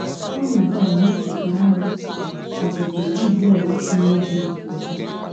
Ọnọdụ a na-echetara anyị Ọpụpụ Izrel si n’Ijipt pụta.